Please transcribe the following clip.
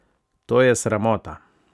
To je sramota.